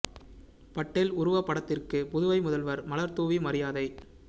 பட்டேல் உருவ படத்திற்கு புதுவை முதல்வர் மலர் தூவி மரியாதை